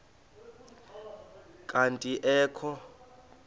kanti ee kho